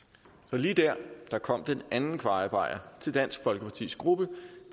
lige dér kom den anden kvajebajer til dansk folkepartis gruppe